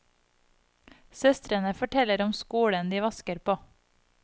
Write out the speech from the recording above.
Søstrene forteller om skolen de vasker på.